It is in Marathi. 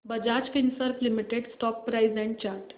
Bajaj Finserv limited stock price and chart